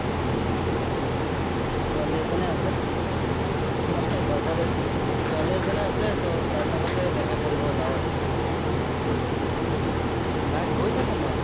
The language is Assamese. ছোৱালী এজনী আছে। নাই লগৰেই। ছোৱালী এজনী আছে, ত' তাৰ লগতে দেখা কৰিব যাঁও আৰু। তাত গৈ থাকো মই।